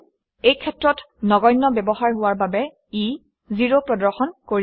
এই ক্ষেত্ৰত ব্যৱহাৰ নধৰ্তব্য হোৱা বাবে ই 0 প্ৰদৰ্শন কৰিব